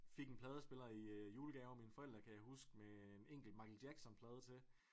Fik en pladespiller i julegave af mine forældre kan jeg huske med en enkelt Michael Jackson plade til